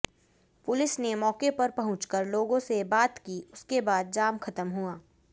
police ने मौके पर पहुंचकर लोगों से बात की उसके बाद जाम खत्म हुआ